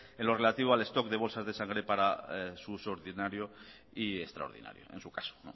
en lo relativo al stock de bolsas de sangre para su uso ordinario y extraordinario en su caso